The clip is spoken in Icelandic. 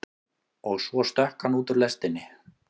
Og svo stökk hann út úr lestinni.